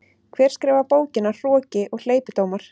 Hver skrifaði bókina Hroki og hleypidómar?